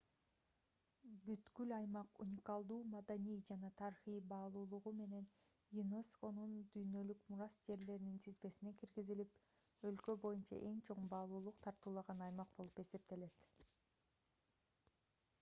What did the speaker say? бүткүл аймак уникалдуу маданий жана тарыхый баалуулугу менен юнесконун дүйнөлүк мурас жерлеринин тизмесине киргизилип өлкө боюнча эң чоң баалуулук тартуулаган аймак болуп эсептелет